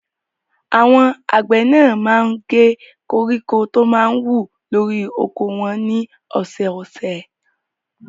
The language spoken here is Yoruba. Àwọn àgbẹ̀ náà máa ń gé koríko tí ó máa ń wù lórí oko wọn ní ọ̀sẹ̀ẹ̀sẹ̀.